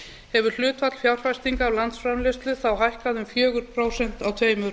hefur hlutfall fjárfestinga af landsframleiðslu þá hækkað um fjögur prósent á tveimur